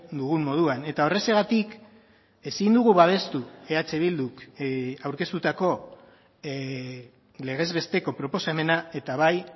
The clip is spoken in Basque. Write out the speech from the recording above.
dugun moduan eta horrexegatik ezin dugu babestu eh bilduk aurkeztutako legez besteko proposamena eta bai